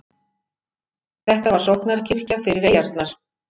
Þetta var sóknarkirkja fyrir eyjarnar.